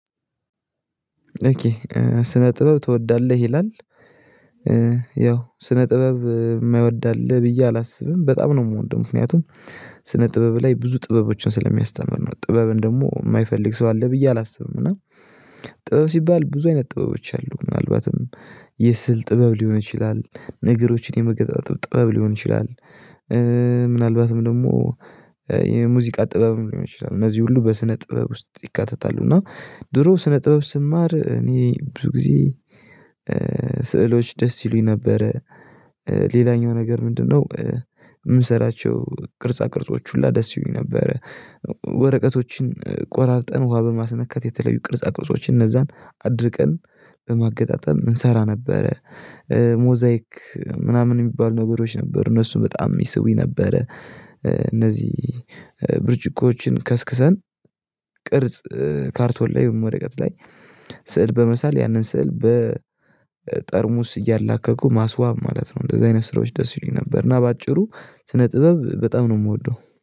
ኦኬ ስነ ጥበብ ትወዳለህ ይላል? ያው ስነ ጥበብ የማይወዳ አለ ብዬ አላስብም በጣም ነው የምወደው ምክንያቱም ስነ ጥበብ ላይ ብዙ ጥበቦችን ስለሚያስተምር ነው ጥበብን ደግሞ የማይፈልግ ሰው አለ ብዬ አላስብም። እና ጥበብ ሲባል ብዙ አይነት ጥበቦች አሉ ምናልባትም የስዕል ጥበብ ሊሆን ይችላል ነገሮችን የመገጣጠም ጥበብ ሊሆን ይችላል። ምናልባትም ደግሞ የሙዚቃ ጥበብም ሊሆን ይችላል እነዚህ ሁሉ በስነ ጥበብ ውስጥ ይካተታሉ እና ድሮ ስነ ጥበብ ስማር እኔ ብዙ ጊዜ ስዕሎች ደስ ይሉኝ ነበረ። ሌላኛው ነገር ምንድነው? የምንሰራቸው ቅርጻ ቅርጾች ሁላ ደስ ይሁኝ ነበረ። ወረቀቶችን ቆራርጠን ውሃ በማስነካት የተለዩ ቅርጻ ቅርጾችን እነዛን አድርቀን በማገጣጠም እንሰራ ነበረ ሞዛይክ ምናምን የሚባል ነገሮች ነበሩ እነሱ በጣም ይስቡኝ ነበረ። እነዚህ ብርጭቆችን ከስክሰን ቅርጽ ካርቶን ላይ ወይም ወረቀት ላይ ስዕል በመሳል ያንን ስዕል በጠርሙስ እያላከኩ ማስዋብ ማለት ነው እንደዚህ አይነት ስራዎች ደስ ይሉኝ ነበር። እና በአጭሩ ስነ ጥበብ በጣም ነው የምወደው